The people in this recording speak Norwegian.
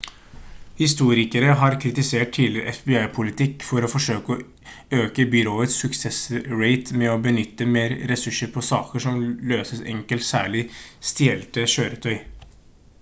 historikere har kritisert tidligere fbi-politikk for å forsøke å øke byråets suksessrate med å benytte mer ressurser på saker som løses enkelt særlig stjelte kjøretøy